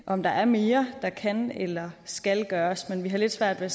om der er mere der kan eller skal gøres men vi har lidt svært ved